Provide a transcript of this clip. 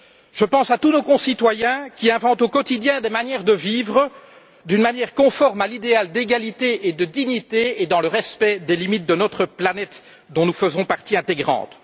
Je pense à tous nos concitoyens qui inventent au quotidien des manières de vivre conformes à l'idéal d'égalité et de dignité et dans le respect des limites de notre planète dont nous faisons partie intégrante.